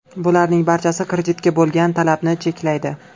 Bularning barchasi kreditga bo‘lgan talabni cheklaydi.